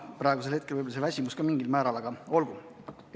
Praegusel hetkel võib olla andis väsimus mingil määral tunda, aga olgu.